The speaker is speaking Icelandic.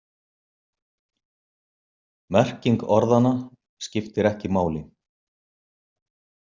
Merking orðanna skiptir ekki máli.